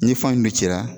Ni fan in cira